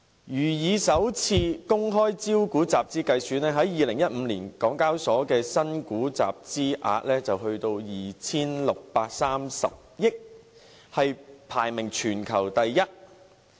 如以首次公開招股集資計算，港交所在2015年的新股集資額便有 2,630 億元，排名全球第一。